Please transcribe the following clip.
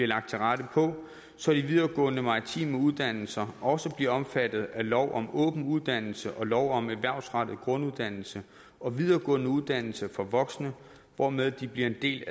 lagt til rette på så de videregående maritime uddannelser også bliver omfattet af lov om åben uddannelse og lov om erhvervsrettet grunduddannelse og videregående uddannelse for voksne hvormed de bliver en del